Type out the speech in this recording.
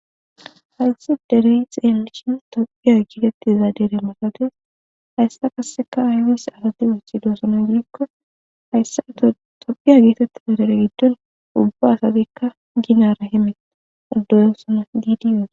hayssi dere i xeelishin tophiya giitettiza dere maqadees hayssa kasseka ayws asati wuchidoosono gidikko hayssa tophiya gietettiza dere giddon ubba asabikka ginara hime oddoyoossona ddi yoe